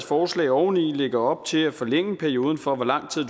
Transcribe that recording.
forslag oveni lægger op til at forlænge perioden for hvor lang tid